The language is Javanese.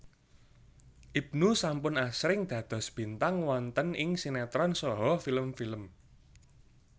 Ibnu sampun asring dados bintang wonten ing sinétron saha film film